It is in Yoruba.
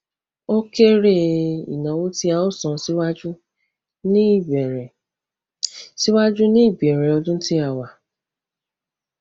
o kere ináwó tí a o san síwájú ní ìbẹrẹ síwájú ní ìbẹrẹ ọdún tí a wà